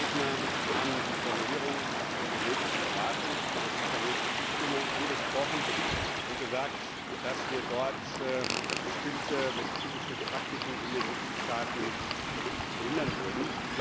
Einige Redner haben die Formulierung zur genetischen Beratung zur informierten Zustimmung, angesprochen und gesagt, dass wir dort bestimmte medizinische Praktiken in den Mitgliedstaaten behindern würden.